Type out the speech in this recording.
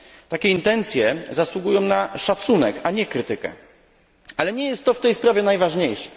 Takie intencje zasługują na szacunek, a nie krytykę, ale nie jest to w tej sprawie najważniejsze.